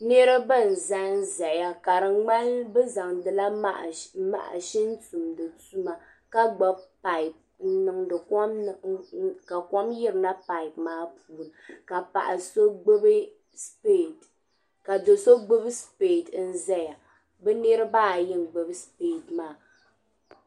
Niriba n-zanzaya ka di ŋmani bɛ zaŋdila mashin tumdi tuma ka gbibi paapu ka kom yirina paapu maa puuni ka do' so gbibi sipiree n-zaya. Bɛ niriba ayi n-gbibi sipiree maa.